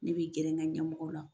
Ne bi gɛrɛ n ka ɲɛmɔgɔw la